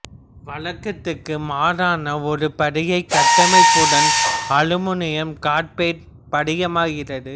வழக்கத்திற்கு மாறான ஒரு படிகக் கட்டமைப்புடன் அலுமினியம் கார்பைடு படிகமாகிறது